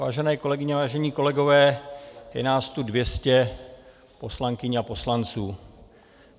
Vážené kolegyně, vážení kolegové, je nás tu 200 poslankyň a poslanců.